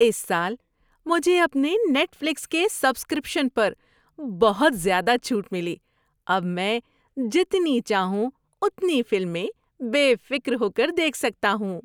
اس سال مجھے اپنے نیٹ فلکس کے سبسکرپشن پر بہت زیادہ چھوٹ ملی۔ اب میں جتنی چاہوں اتنی فلمیں بے فکر ہو کر دیکھ سکتا ہوں۔